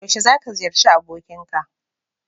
Yaushe za ka ziyarci abokinka?